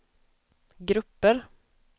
grupper